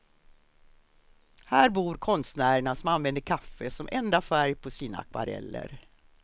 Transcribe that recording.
Här bor konstnärerna som använder kaffe som enda färg på sina akvareller.